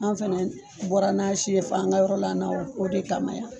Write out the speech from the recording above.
An fana bɔra n'a si ye fɔ an ka yɔrɔ la na o de kama yan.